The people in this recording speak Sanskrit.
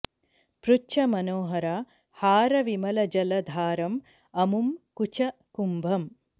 पृच्छ मनोहर हार विमल जल धारम् अमुम् कुच कुम्भम्